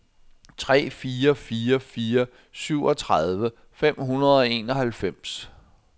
tre fire fire fire syvogtredive fem hundrede og enoghalvfems